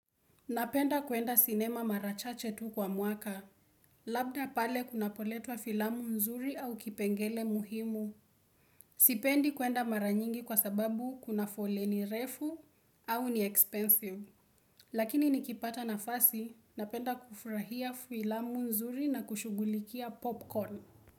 Napenda kuenda sinema mara chache tu kwa mwaka. Labda pale kunapoletwa filamu nzuri au kipengele muhimu. Sipendi kuenda mara nyingi kwa sababu kuna foleni refu au ni expensive. Lakini nikipata nafasi, napenda kufurahia filamu nzuri na kushughulikia popcorn.